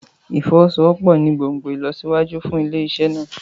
Ìfọwọ́sowọ́pọ̀ ní gbòngbòn ìlọsíwájú fún ilé-iṣẹ́ náà.